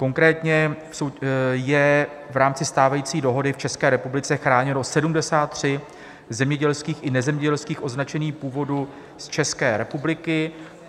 Konkrétně je v rámci stávající dohody v České republice chráněno 73 zemědělských i nezemědělských označení původu z České republiky.